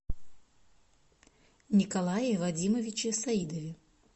николае вадимовиче саидове